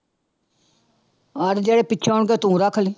ਹਾਂ ਤੇ ਜਿਹੜੇ ਪਿੱਛੋਂ ਆਉਣਗੇ ਤੂੰ ਰੱਖ ਲਈ।